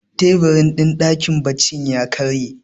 tebur din dakin bacci ya karye